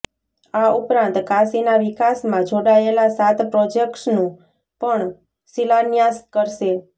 આ ઉપરાંત કાશીના વિકાસમાં જોડાયેલા સાત પ્રોજેક્ટ્સનું પણ શિલાન્યાસ કરશે